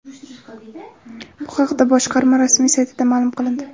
Bu haqda boshqarma rasmiy saytida ma’lum qilindi .